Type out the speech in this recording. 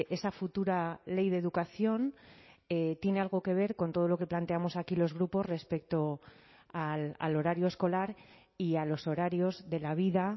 esa futura ley de educación tiene algo que ver con todo lo que planteamos aquí los grupos respecto al horario escolar y a los horarios de la vida